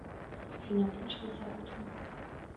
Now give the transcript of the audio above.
афина включи визаут ю